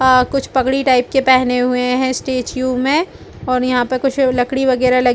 अ कुछ पगड़ी टाइप के पहने हुए है स्टैच्यू में और यहाँ पर कुछ लकड़ी वगेरा लगी--